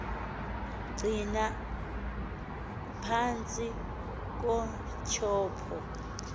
gcina aphantsi kotyhopho